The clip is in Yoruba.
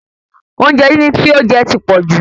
Oúnjẹ díndín tí ó jẹ ti pọ̀jù